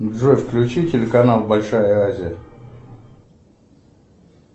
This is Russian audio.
джой включи телеканал большая азия